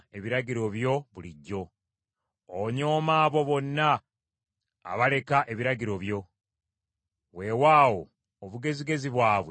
Onyooma abo bonna abaleka ebiragiro byo; weewaawo obugezigezi bwabwe tebuliimu kantu.